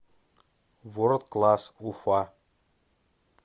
ворлд класс уфа